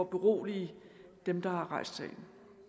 berolige dem der har rejst sagen